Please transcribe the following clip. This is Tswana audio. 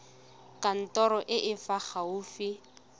kantorong e e fa gaufi